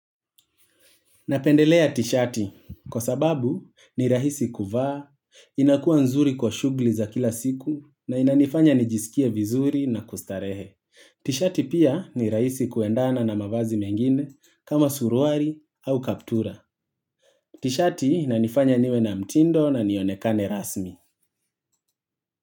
Napendelea t-shirti kwa sababu ni rahisi kuvaa, inakua nzuri kwa shugli za kila siku na inanifanya nijisikie vizuri na kustarehe. T-shirti pia ni rahisi kuendana na mavazi mengine kama suruari au kaptura. T-shirti inanifanya niwe na mtindo na nionekane rasmi.